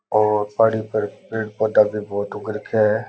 और पहाड़ी पर पेड़ पौधा भी बहुत उग रखे है।